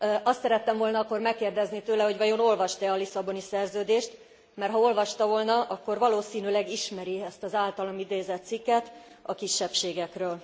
Azt szerettem volna akkor megkérdezni tőle, hogy vajon olvasta e a Lisszaboni Szerződést, mert ha olvasta volna, akkor valószínűleg ismeri ezt az általam idézett cikket a kisebbségekről.